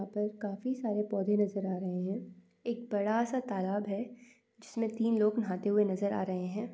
यहाँ पर काफी सारे पौधे नज़र आ रहे हैं | एक बड़ा सा तालाब है जिसमें तीन लोग नहाते हुए नज़र आ रहे हैं।